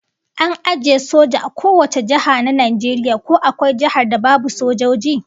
An ajiye soja a kowace jiha na Najeriya, ko akwai jihar da babu sojoji?